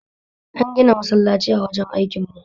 An gina masallaci a wajen aikin mu